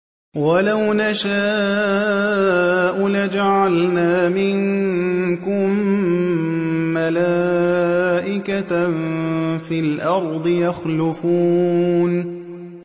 وَلَوْ نَشَاءُ لَجَعَلْنَا مِنكُم مَّلَائِكَةً فِي الْأَرْضِ يَخْلُفُونَ